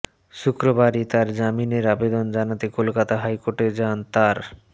শক্রবারই তাঁর জামিনের আবেদন জানাতে কলকাতা হাইকোর্টে যান তাঁর